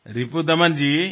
Ripudaman Babu